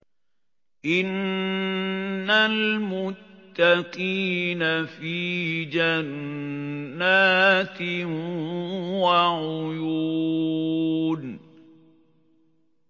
إِنَّ الْمُتَّقِينَ فِي جَنَّاتٍ وَعُيُونٍ